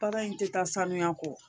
Baara in tɛ taa sanuya kɔ